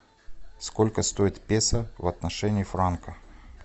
сколько стоит песо в отношении франка